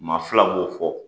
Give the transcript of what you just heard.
Ma fila b'o fɔ,